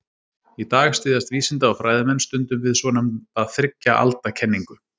Í dag styðjast vísinda- og fræðimenn stundum við svonefnda þriggja alda kenningu.